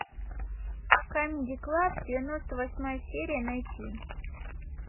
камеди клаб девяносто восьмая серия найти